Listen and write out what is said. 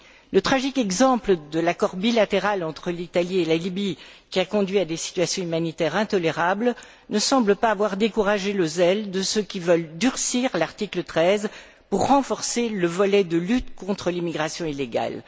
Le tragique exemple de l'accord bilatéral entre l'Italie et la Libye, qui a conduit à des situations humanitaires intolérables, ne semble pas avoir découragé le zèle de ceux qui veulent durcir l'article 13 pour renforcer le volet de lutte contre l'immigration illégale.